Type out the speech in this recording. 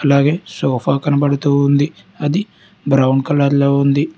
అలాగే సోఫా కనబడుతూ ఉంది అది బ్రౌన్ కలర్లో ఉంది.